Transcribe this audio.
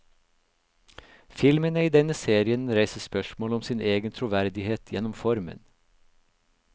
Filmene i denne serien reiser spørsmål om sin egen troverdighet gjennom formen.